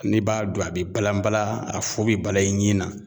N'i b'a dɔn a be balan balan a fu be balan i ɲin na